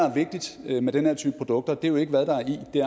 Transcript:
er vigtigt med den her type produkter er jo ikke hvad der er i